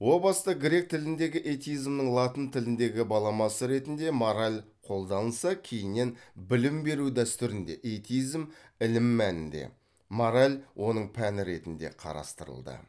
о баста грек тіліндегі этизмның латын тіліндегі баламасы ретінде мораль қолданылса кейіннен білім беру дәстүрінде этизм ілім мәнінде мораль оның пәні ретінде қарастырылды